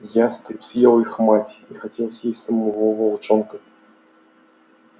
ястреб съел их мать и хотел съесть самого волчонка